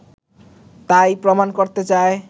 তাই-ই প্রমাণ করতে চায়